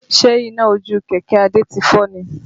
Ṣe iná ojú kẹ̀kẹ́ Adé ti fọ́ ni?